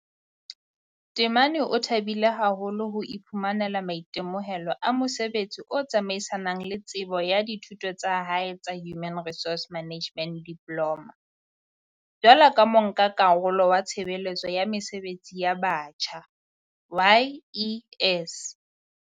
Temane o thabile haholo ho iphumanela maitemohelo a mosebetsi o tsamaisanang le tsebo ya dithuto tsa hae tsa Human Resource Management Diploma, jwaloka monka-karolo wa Tshebeletso ya Mesebetsi ya Batjha, YES.